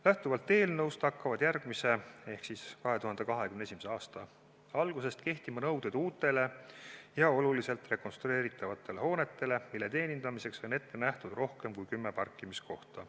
Lähtuvalt eelnõust hakkavad järgmise ehk 2021. aasta algusest kehtima nõuded uutele ja oluliselt rekonstrueeritavatele hoonetele, mille teenindamiseks on ette nähtud rohkem kui kümme parkimiskohta.